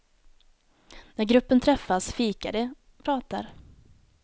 När gruppen träffas fikar de, pratar.